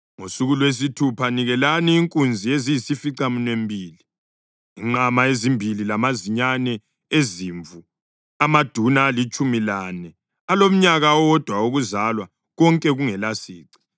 Ngosuku lwesithupha nikelani inkunzi eziyisificaminwembili, inqama ezimbili lamazinyane ezimvu amaduna alitshumi lane alomnyaka owodwa wokuzalwa, konke kungelasici.